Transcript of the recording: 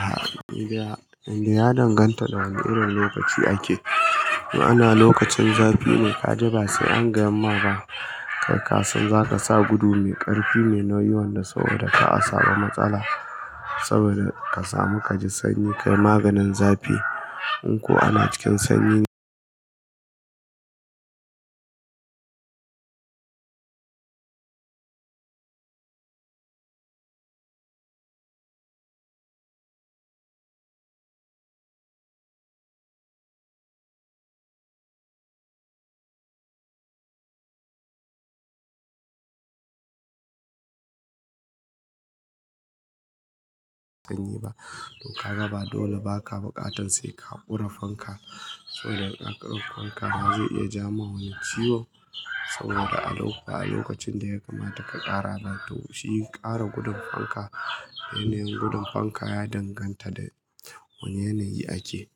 A'a, inda ya danganta da wane irin lokaci ake. In ana lokacin zafi ne ka ji ba sai an ga yamma ba, kai ka san za ka sa gudu mai ƙarfi ne na yawan da saboda ka a saba matsala saboda ka samu ka ji sanyi kai maganin zafi. In ko ana cikin sanyi ba, dun ka ga ba dole ba ka buƙatan sai ka ƙura fanka saboda ƙaƙarruwar fanka ba zai iya ja ma wani ciwo saboda a lokacin da ya kamata ka ƙara ba to shi ƙara gudun fanka. Yanayin gudun fanka ya danganta da wane yanayi ake.